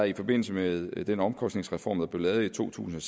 i forbindelse med den omkostningsreform der blev lavet i to tusind